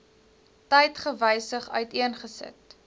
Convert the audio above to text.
tyd gewysig uiteengesit